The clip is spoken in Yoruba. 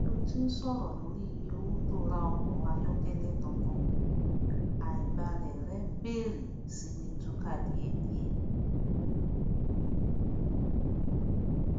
bi o tin sòrò lórí iye owó tó ra ọkọ ayọkẹlẹ tuntun àìbálẹ rẹ bèrè sí ní tuka diẹdie